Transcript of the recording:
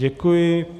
Děkuji.